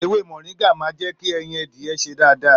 Èwè mọringà mà jẹki ẹyín àdiyẹ sè dàdà